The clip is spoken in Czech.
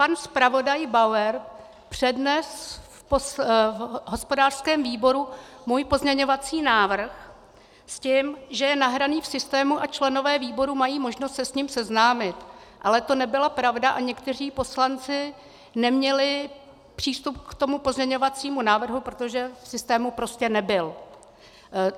Pan zpravodaj Bauer přednesl v hospodářském výboru můj pozměňovací návrh s tím, že je nahraný v systému a členové výboru mají možnost se s ním seznámit, ale to nebyla pravda a někteří poslanci neměli přístup k tomu pozměňovacímu návrhu, protože v systému prostě nebyl.